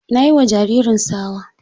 Na yi ma jaririn tsawa.